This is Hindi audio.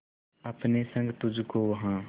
अपने संग तुझको वहां